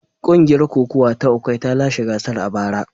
Kungiyar kokawa ta Ukwa ta lashe gasar a bara.